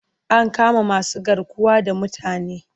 An kama masugarkuwa da mutane.